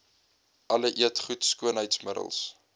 alle eetgoed skoonheidsmiddels